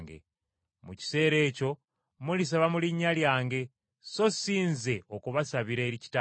Mu kiseera ekyo mulisaba mu linnya lyange, so si Nze okubasabira eri Kitange.